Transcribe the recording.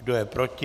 Kdo je proti?